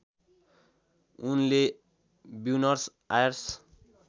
उनले Buenos Aires